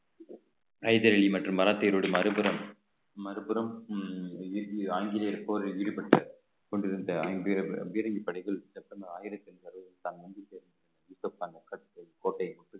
ஹைதர் அலி மற்றும் மராத்தியருடைய மறுபுறம் மறுபுறம் அஹ் ஆங்கிலேயர் போரில் ஈடுபட்டு கொண்டிருந்த ஐந்து பீரங்கி பணிகள் செப்டம்பர் ஆயிரத்தி எண்பது கோட்டையை